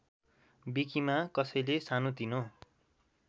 विकिमा कसैले सानोतिनो